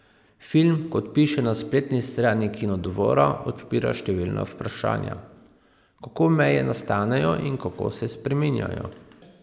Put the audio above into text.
Film, kot piše na spletni strani Kinodvora, odpira številna vprašanja: "Kako meje nastanejo in kako se spreminjajo?